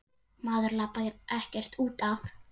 Maður labbar ekkert út af.